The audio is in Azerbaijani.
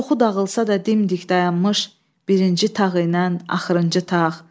Çoxu dağılsa da dimdik dayanmış birinci tağ ilə axırıncı tağ.